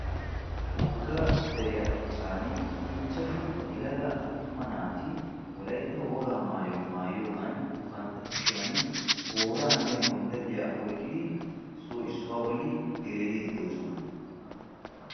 Wogga deriya achchaan ichchashshu yelaga attuma naati wolaytta wogaa maayuwa maayiyoogan bantta kushshiyan tooraanne gonddalliya oyqqidi issoy issuwa bolli gereeriidi doosona.